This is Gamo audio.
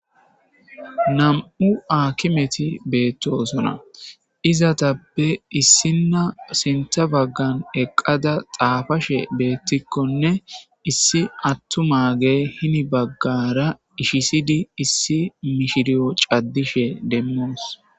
Nam'u aakimeti de'osina. Izetetappe issina sinththa baggan eqqada xaafashe beetikonne,issi attumagey heni bagara ichchisidi issi mishiriyo caddishe demmos.